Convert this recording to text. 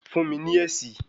Fún mi ní èsì